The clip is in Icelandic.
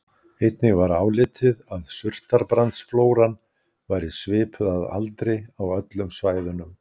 Einnig var álitið að surtarbrandsflóran væri svipuð að aldri á öllum svæðunum.